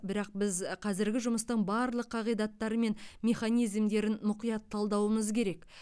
бірақ біз қазіргі жұмыстың барлық қағидаттары мен механизмдерін мұқият талдауымыз керек